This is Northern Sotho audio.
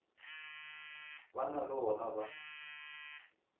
ba na le wona ba